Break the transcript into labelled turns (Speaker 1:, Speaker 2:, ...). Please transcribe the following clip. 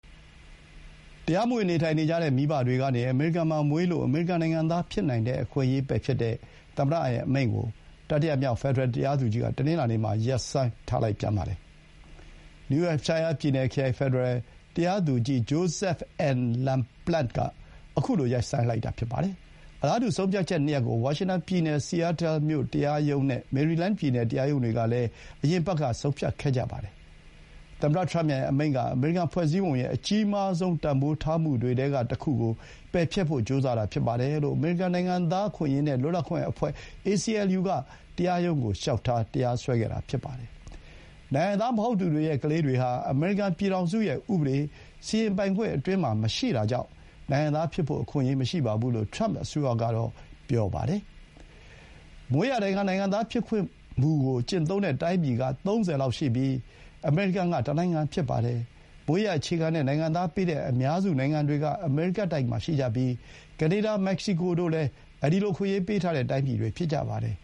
Speaker 1: တရားမဝင် နေထိုင်နေကြတဲ့ မိဘတွေကနေ အမေရိကန်မှာမွေးလို့ အမေရိကန်နိုင်ငံသား ဖြစ်နိုင်တဲ့ အခွင့်အရေးကို ပယ်ဖျက်တဲ့ သမ္မတအမိန့် ကို တတိယမြောက် ဖက်ဒရယ် တရားသူကြီးက တနင်္လာနေ့မှာ ရပ်ဆိုင်းထားလိုက်ပြန်ပါတယ်။ နယူး ဟမ်ရှိုင်းယားပြည်နယ်၊ ဖက်ဒရယ် တရားသူကြီး Joseph N. Laplante က ခုလို ရပ်ဆိုင်းလိုက်တာပါ။ အလားတူ ဆုံးဖြတ်ချက်နှစ်ရပ်ကို ဝါရှင်တန်ပြည်နယ်၊ Seattle တရားရုံးနဲ့ မေရီလန်းပြည်နယ် တရားရုံးတွေကလည်း အရင်အပတ်က ဆုံးဖြတ်ခဲ့ကြပါတယ်။ သမ္မတထရမ့်ရဲ့ အမိန့်က အမေရိကန်ဖွဲ့စည်းပုံရဲ့ အကြီးမားဆုံး တန်ဖိုးထားမှုတွေထဲက တခုကို ပယ်ဖျက်ဖို့ ကြိုးစားတာဖြစ်တယ်လို့ အမေရိကန်နိုင်ငံသား အခွင့်အရေးနဲ့ လွတ်လပ်ခွင့်အဖွဲ့ (ACLU) က တရားရုံးကို လျှောက်ထား စွဲဆိုခဲ့တာ ဖြစ်ပါတယ်။ နိုင်ငံသား မဟုတ်သူတွေရဲ့ ကလေးတွေဟာ အမေရိကန်ပြည်ထောင်စုရဲ့ ဥပဒေ စီရင်ပိုင်ခွင့်အတွင်းမှာ မရှိတာကြောင့် နိုင်ငံသားဖြစ်ဖို့ အခွင့်အရေး မရှိဘူးလို့ ထရမ့်အစိုးရကတော့ ပြောပါတယ်။ မွေးရာပါ နိုင်ငံသားဖြစ်ခွင့်မူကို ကျင့်သုံးတဲ့ တိုင်းပြည်က ၃၀ လောက်ရှိပြီး အမေရိကန်က တနိုင်ငံဖြစ်ပါတယ်။ အများစုနိုင်ငံတွေက အမေရိကတိုက်မှာ ရှိကြပြီး ကနေဒါ၊ မက္ကဆီကိုတို့လည်း ဒီလို အခွင့်အရေး ပေးထားတဲ့ တိုင်းပြည်တွေ ဖြစ်ကြပါတယ်